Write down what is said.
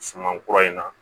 Suman kura in na